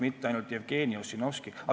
Mina tunnen Jevgeni Ossinovskit.